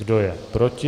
Kdo je proti?